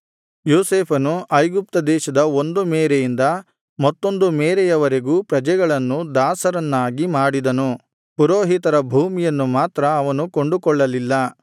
ಯೋಸೇಫನು ಐಗುಪ್ತ ದೇಶದ ಒಂದು ಮೇರೆಯಿಂದ ಮತ್ತೊಂದು ಮೇರೆಯವರೆಗೂ ಪ್ರಜೆಗಳನ್ನು ದಾಸರನ್ನಾಗಿ ಮಾಡಿದನು